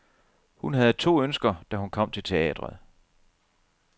Hun havde to ønsker, da hun kom til teatret.